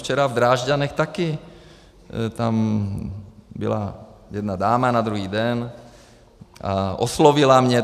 Včera v Drážďanech taky, byla tam jedna dáma na druhý den a oslovila mě.